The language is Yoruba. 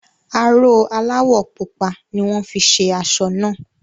Aró aláwọ̀ pupa ni wọ́n fi ṣe aṣọ náà.